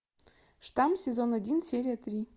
штамм сезон один серия три